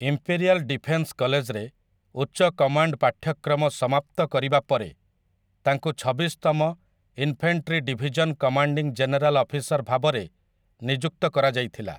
Imperial defence କଲେଜରେ ଉଚ୍ଚ command ପାଠ୍ୟକ୍ରମ ସମାପ୍ତ କରିବା ପରେ, ତାଙ୍କୁ ଛବିଶ ତମ infantry division commanding general officer ଭାବରେ ନିଯୁକ୍ତ କରାଯାଇଥିଲା ।